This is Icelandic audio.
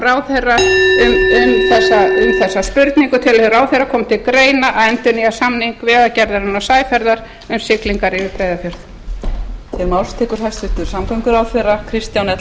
ráðherra þessar spurningar frá sex hundruð fimmtíu og einn telur ráðherra koma til greina að endurnýja samning vegagerðarinnar og sæferða e h f um siglingar yfir breiðafjörð þegar núgildandi samningur rennur út um næstu áramót